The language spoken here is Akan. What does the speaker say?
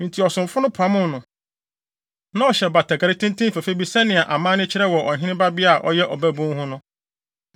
Enti ɔsomfo no pam no. Na ɔhyɛ batakari tenten fɛfɛ bi sɛnea na amanne kyerɛ wɔ ɔhene babea a ɔyɛ ɔbabun ho no.